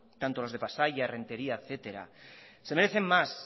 tanto los de pasaia errenteria etcétera se merecen más